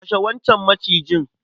kashe wancan Maciji.